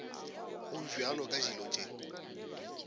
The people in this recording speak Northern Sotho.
go bjalo ka dilo tše